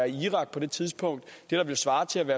irak på det tidspunkt det der ville svare til